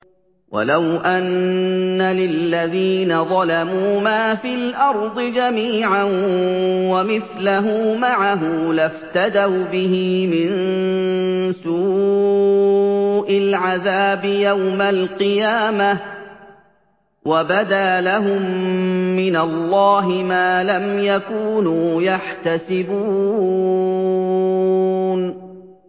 وَلَوْ أَنَّ لِلَّذِينَ ظَلَمُوا مَا فِي الْأَرْضِ جَمِيعًا وَمِثْلَهُ مَعَهُ لَافْتَدَوْا بِهِ مِن سُوءِ الْعَذَابِ يَوْمَ الْقِيَامَةِ ۚ وَبَدَا لَهُم مِّنَ اللَّهِ مَا لَمْ يَكُونُوا يَحْتَسِبُونَ